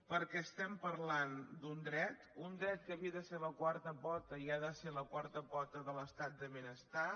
perquè estem parlant d’un dret un dret que havia de ser la quarta pota i ha de ser la quarta pota de l’estat del benestar